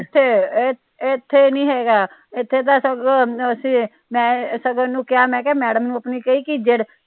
ਨੀ ਇਥੇ, ਇਥੇ ਨਹੀਂ ਹੇਗਾ ਇਥੇ ਤਾ ਸਗੋਂ ਸਗੋਂ ਮੈ ਇਹਨੂੰ ਕਹਿਆ ਕੇ ਮੈਡਮ ਨੂੰ ਆਪਣੀ ਨੂੰ ਕਹੀ ਕੇ ਜਿਹੜੀ